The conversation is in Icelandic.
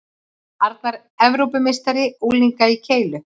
Arnar Evrópumeistari unglinga í keilu